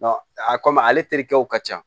a kɔmi ale terikɛw ka ca